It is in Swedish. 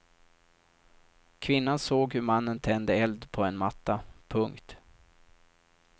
Kvinnan såg hur mannen tände eld på en matta. punkt